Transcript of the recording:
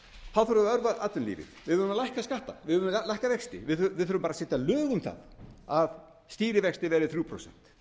við að örva atvinnulífið við þurfum að lækka skatta við þurfum að lækka vexti við þurfum að setja lög um að stýrivextir verði þrjú prósent